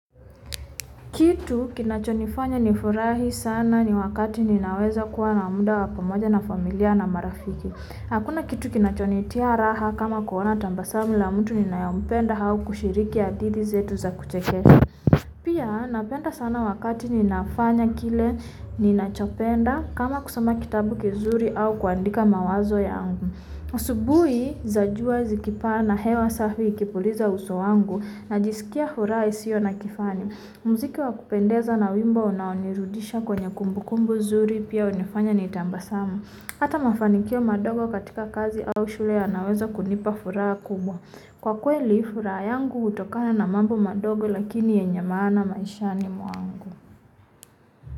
Kitu kinachonifanya nifurahi sana ni wakati ninaweza kuwa na muda wa pamoja na familia na marafiki. Hakuna kitu kinachonitia raha kama kuona tabasamu la mtu ninayompenda au kushiriki hadithi zetu za kuchekesha. Pia napenda sana wakati ninafanya kile ninachopenda kama kusoma kitabu kizuri au kuandika mawazo yangu. Asubuhi za jua iki paa na hewa safi ikipuliza uso wangu na jisikia furaha isiyo na kifani. Muziki wa kupendeza na wimbo unaonirudisha kwenye kumbukumbu zuri pia hunifanya nitabasamu. Hata mafanikio madogo katika kazi au shule yanaweza kunipa furaha kubwa. Kwa kweli furaha yangu hutokana na mambo madogo lakini yenye maana maishani mwangu.